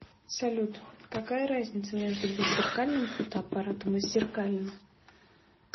салют какая разница между беззеркальным фотоаппаратом и зеркальным